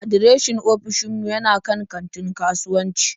Adireshin ofishin mu yana kan katin kasuwanci.